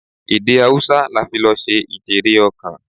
Èdè Haúsá la fi lọ ṣe ijere-okan.